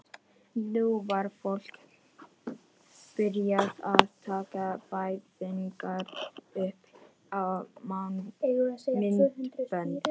Nú var fólk byrjað að taka fæðingar upp á myndbönd.